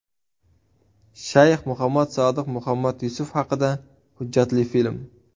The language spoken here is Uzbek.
Shayx Muhammad Sodiq Muhammad Yusuf haqida hujjatli film.